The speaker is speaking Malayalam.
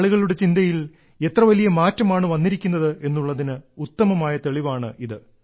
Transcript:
ആളുകളുടെ ചിന്തയിൽ എത്ര വലിയ മാറ്റമാണ് വന്നിരിക്കുന്നത് എന്നുള്ളതിന് ഉത്തമമായ തെളിവാണ് ഇത്